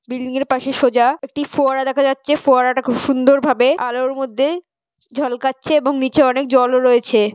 Building -এর পাশে সোজা একটি ফোয়ারা দেখা যাচ্ছে ফোয়ারাটা খুব সুন্দর ভাবে আলোর মধ্যে ঝলকাচ্ছে এবং নিচে অনেক জলও রয়েছে।